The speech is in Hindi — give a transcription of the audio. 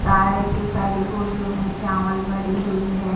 सारे के सारे बोरियों में चावल भरी हुई है।